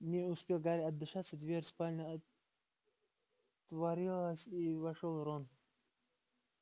не успел гарри отдышаться дверь спальни отворилась и вошёл рон